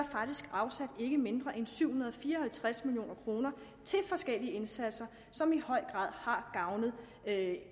faktisk afsat ikke mindre end syv hundrede og fire og halvtreds million kroner til forskellige indsatser som i høj grad har gavnet